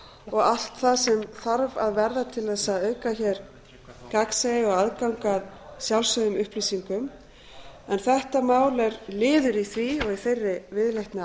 og allt það sem þarf að verða til þess að auka hér gagnsæi og aðgang að sjálfsögðum upplýsingum en þetta mál er liður í því og í þeirri viðleitni